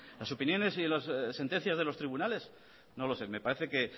las opiniones y las sentencias de los tribunales no lo sé me parece que